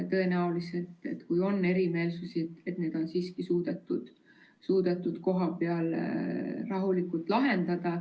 Tõenäoliselt, kui on olnud erimeelsusi, on need siiski suudetud kohapeal rahulikult lahendada.